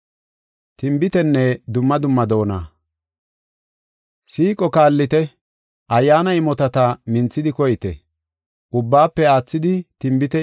Siiqo kaallite. Ayyaana imotata minthidi koyite; ubbaafe aathidi, tinbite imota minthidi koyite.